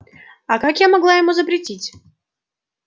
а как я могла ему запретить